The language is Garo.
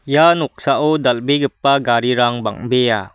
ia noksao dal·begipa garirang bang·bea.